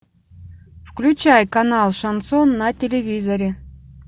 включай канал шансон на телевизоре